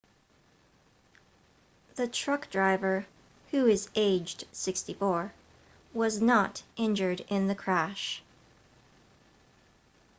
the truck driver who is aged 64 was not injured in the crash